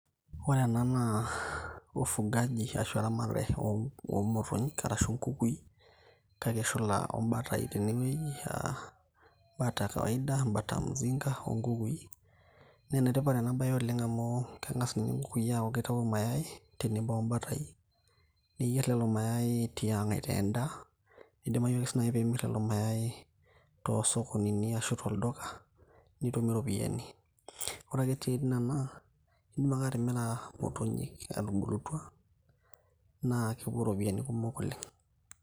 Ore ena naa, ufugaji arashu eramatare omotonyik, arashu nkukui, kake eshula obatai tenewei ah bata kawaida bata mzinga onkukui. Na enetipat ena bae oleng' amu, keng'as ninye nkukui aaku kitau mayai, tenebo obatai, niyier lelo mayai tiang' aitaa endaa. Kidimayu ake nai enimir lelo mayai, tosokonini ashu tolduka, nitumie ropiyaiani. Ore ake etii nena, idim ake atimira imotonyik etubulutua, naa kepuo ropiyaiani kumok oleng'.